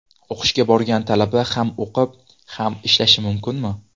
O‘qishga borgan talaba ham o‘qib, ham ishlashi mumkinmi?